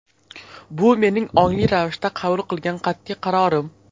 Bu mening ongli ravishda qabul qilgan qat’iy qarorim.